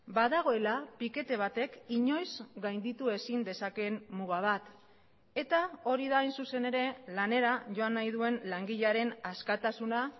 badagoela pikete batek inoiz gainditu ezin dezakeen muga bat eta hori da hain zuzen ere lanera joan nahi duen langilearen askatasuna